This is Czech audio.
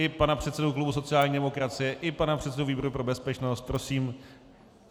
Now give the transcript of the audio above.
I pana předsedu klubu sociální demokracie i pana předsedu výboru pro bezpečnost prosím.